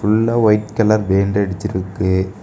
உள்ள white colour paint அடிச்சிருக்கு.